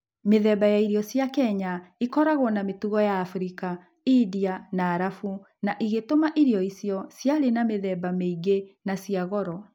Mĩthemba ya irio cia Kenya ĩkoragwo na mĩtugo ya Abirika, India, na Arabu, na ĩgĩtũma irio icio ciarĩ na mĩthemba mĩingĩ na cia goro.